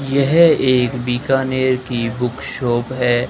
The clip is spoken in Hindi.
यह एक बीकानेर की बुक शॉप है।